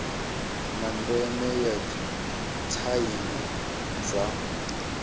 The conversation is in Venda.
na ndeme ya tsaino dza